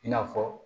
I n'a fɔ